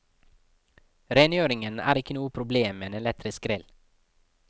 Rengjøringen er ikke noe problem med en elektrisk grill.